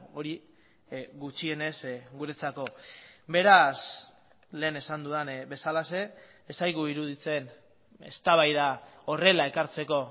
hori gutxienez guretzako beraz lehen esan dudan bezalaxe ez zaigu iruditzen eztabaida horrela ekartzeko